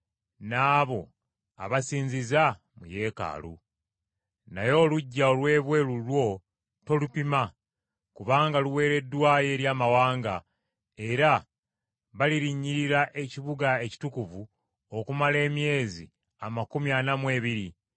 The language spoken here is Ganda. Naye oluggya olw’ebweru lwo tolupima kubanga luweereddwayo eri amawanga, era balirinnyirira ekibuga ekitukuvu okumala emyezi amakumi ana mu ebiri (42).